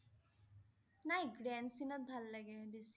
নাই grand cine ত ভাল লাগে বেছি